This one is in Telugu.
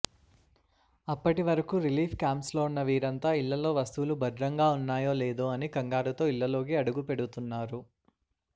అప్పటి వరకు రిలీఫ్ క్యాంప్స్లో ఉన్న వీరంతా ఇళ్లలో వస్తువులు భద్రంగా ఉన్నాయో లేదో అని కంగారుతో ఇళ్లలోకి అడుగుపెడుతున్నారు